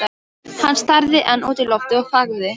Hann starði enn út í loftið og þagði.